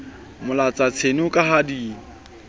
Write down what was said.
molatsa tseno ka ha di